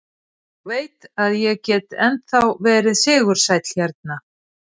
Ég veit að ég get ennþá verið sigursæll hérna.